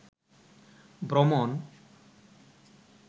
ভ্রমণ